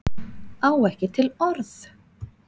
Á ekki til orð